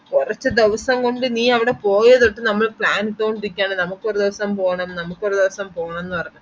കൊറച് ദിവസം കൊണ്ട് നെ അവിടെ പോയെ തൊട്ട് നമ്മൾ plan ഇട്ടോണ്ട് ഇരിക്കയാണ് നമക്ക് ഒരു ദിവസം പോണം നമക് ഒരു ദിവസം പോണം ന്നു പറഞ്ഞു